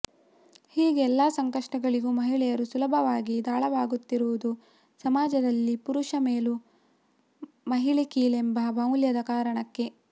ಹೀಗೆ ಎಲ್ಲ ಸಂಕಷ್ಟಗಳಿಗೂ ಮಹಿಳೆಯರು ಸುಲಭವಾಗಿ ದಾಳವಾಗುತ್ತಿರುವುದು ಸಮಾಜದಲ್ಲಿ ಪುರುಷ ಮೇಲು ಮಹಿಳೆ ಕೀಳೆಂಬ ಮೌಲ್ಯದ ಕಾರಣಕ್ಕೆ